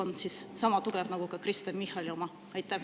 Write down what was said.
… on sama tugev nagu Kristen Michali oma?